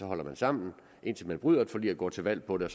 holder sammen indtil man bryder et forlig og går til valg på det